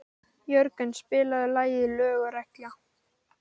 Jörgen, spilaðu lagið „Lög og regla“.